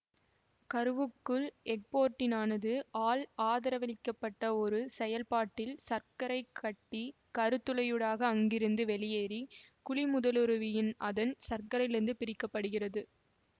கருவுக்குள் எக்போர்டினானது ஆல் ஆதரவளிக்கப்பட்ட ஒரு செயற்பாட்டில் சரக்கைக் கட்டி கருத் துளையூடாக அங்கிருந்து வெளியேறி குழிமுதலுருவின் அதன் சரக்கிலிருந்து பிரிக்க படுகிறது